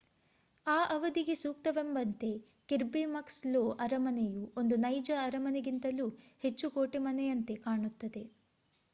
ಆ ಅವಧಿಗೆ ಸೂಕ್ತವೆಂಬಂತೆ ಕಿರ್ಬಿ ಮಕ್ಸ್ ಲೋ ಅರಮನೆಯು ಒಂದು ನೈಜ ಅರಮನೆಗಿಂತಲೂ ಹೆಚ್ಚು ಕೋಟೆಮನೆಯಂತೆ ಕಾಣುತ್ತದೆ